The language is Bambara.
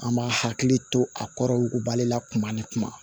An b'a hakili to a kɔrɔ yugubalen la kuma ni kuma